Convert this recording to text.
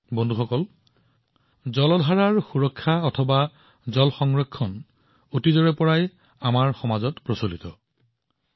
বন্ধুসকল জল সংৰক্ষণ আমাৰ দেশত পানীৰ উৎসৰ সুৰক্ষা বহু শতাব্দী ধৰি সমাজৰ প্ৰকৃতিৰ এক অংশ হৈ আহিছে